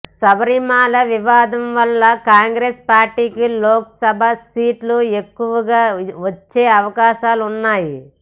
శబరిమల వివాదం వల్ల కాంగ్రెస్ పార్టీకి లోక్సభ సీట్లు ఎక్కువగా వచ్చే అవకాశాలున్నాయి